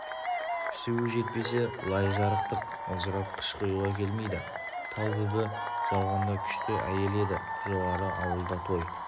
пісуі жетпесе лай жарықтық ылжырап қыш құюға келмейді талбүбі жалғанда күшті әйел еді жоғары ауылда той